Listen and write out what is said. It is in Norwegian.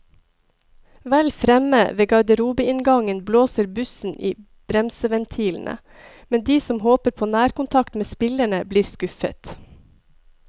Vel fremme ved garderobeinngangen blåser bussen i bremseventilene, men de som håper på nærkontakt med spillerne, blir skuffet.